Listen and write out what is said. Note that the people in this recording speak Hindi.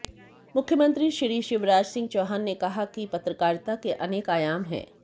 मुख्यमंत्री श्री शिवराजसिंह चौहान ने कहा कि पत्रकारिता के अनेक आयाम हैं